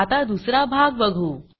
आता दुसरा भाग बघू